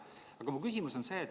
Aga mu küsimus on see.